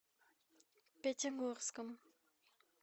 пятигорском